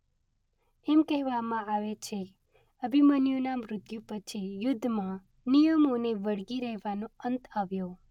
એમ કહેવામાં આવે છે અભિમન્યુના મૃત્યુ પછી યુદ્ધમાં નિયમોને વળગી રહેવાનો અંત આવ્યો.